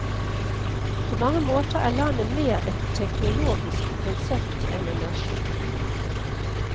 På mange måter er landet mer et teknologisk konsept enn en nasjon.